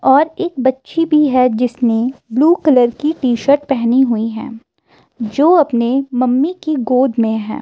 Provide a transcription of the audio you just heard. और एक बच्ची भी है जिसने ब्लू कलर की टी-शर्ट पहनी हुई है जो अपने मम्मी की गोद में है।